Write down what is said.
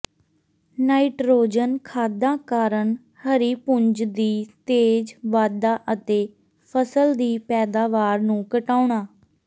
nitrogen ਖਾਦਾਂ ਕਾਰਨ ਹਰੀ ਪੁੰਜ ਦੀ ਤੇਜ਼ ਵਾਧਾ ਅਤੇ ਫ਼ਸਲ ਦੀ ਪੈਦਾਵਾਰ ਨੂੰ ਘਟਾਉਣਾ